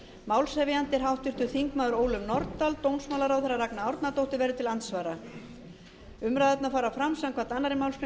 málshefjandi er háttvirtir þingmenn ólöf nordal dómsmálaráðherra ragna árnadóttir verður til andsvara umræðurnar fara fram samkvæmt annarri málsgrein